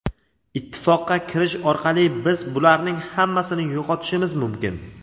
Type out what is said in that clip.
Ittifoqqa kirish orqali biz bularning hammasini yo‘qotishimiz mumkin.